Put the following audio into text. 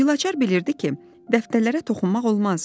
Gülaçar bilirdi ki, dəftərlərə toxunmaq olmaz.